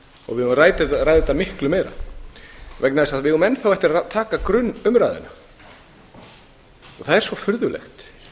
og við eigum að ræða þetta allt of meira vegna þess að við eigum enn eftir að taka grunnumræðuna það er svo furðulegt